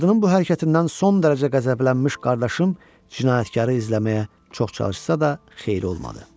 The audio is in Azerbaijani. Qadının bu hərəkətindən son dərəcə qəzəblənmiş qardaşım cinayətkarı izləməyə çox çalışsa da xeyri olmadı.